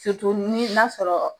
munnu n'a sɔrɔ